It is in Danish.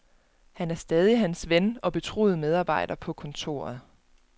Han er stadig er hans ven og betroede medarbejder på kontoret.